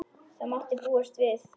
Það mátti búast við því.